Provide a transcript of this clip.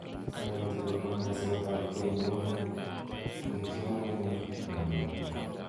Toreti kokon kaset ab gei nemnye eng kipsomaninik ak kanetik.